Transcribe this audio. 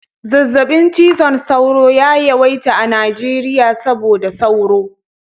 Zazzaɓin cizon sauro ya yawaita a Najeriya saboda sauro